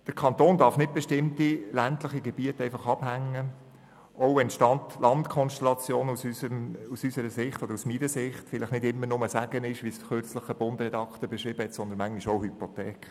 Der Kanton darf bestimmte ländliche Gebiete nicht einfach abhängen, auch wenn die Stadt-Land-Konstellation aus unserer Sicht – oder aus meiner Sicht – vielleicht nicht immer nur ein Segen ist, wie es kürzlich ein «Bund»-Redaktor beschrieben hat, sondern manchmal auch eine Hypothek.